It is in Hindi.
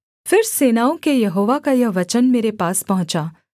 फिर सेनाओं के यहोवा का यह वचन मेरे पास पहुँचा